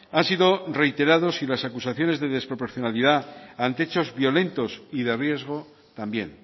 han sido reiterados y las acusaciones de desproporcionalidad ante hechos violentos y de riesgo también